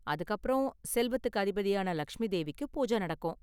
அதுக்கு அப்பறம் செல்வத்துக்கு அதிபதியான லக்ஷ்மி தேவிக்கு பூஜ நடக்கும்.